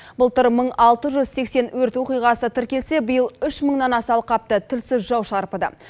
былтыр мың алты жүз сексен өрт оқиғасы тіркелсе биыл үш мыңнан аса алқапты тілсіз жау шарпыды